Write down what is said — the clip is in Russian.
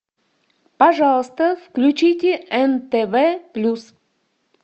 пожалуйста включите нтв плюс